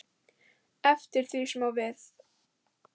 eftir því sem við á.